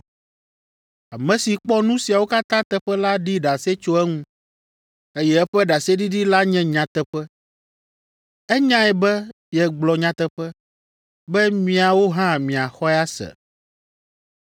Ame si kpɔ nu siawo katã teƒe la ɖi ɖase tso eŋu, eye eƒe ɖaseɖiɖi la nye nyateƒe. Enyae be yegblɔ nyateƒe, be miawo hã miaxɔe ase.